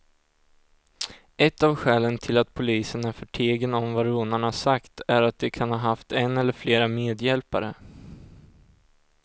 Ett av skälen till att polisen är förtegen om vad rånarna sagt är att de kan ha haft en eller flera medhjälpare.